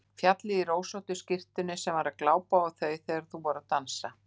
Fjallið í rósóttu skyrtunni sem var að glápa á þau þegar þau voru að dansa!